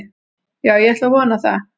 Já ég ætla að vona það.